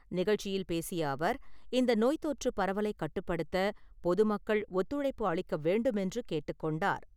நிகழ்ச்சியில் பேசிய அவர், இந்த நோய் தொற்றுப் பரவலை கட்டுப்படுத்த பொதுமக்கள் ஒத்துழைப்பு அளிக்க வேண்டுமென்று கேட்டுக் கொண்டார்.